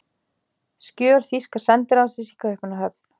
Skjöl þýska sendiráðsins í Kaupmannahöfn.